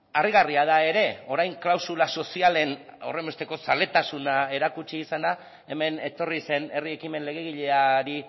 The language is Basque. harrigarria da ere orain klausula sozialen horrenbesteko zaletasuna erakutsi izana hemen etorri zen herri ekimen legegileari